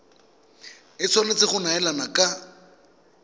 e tshwanetse go neelana ka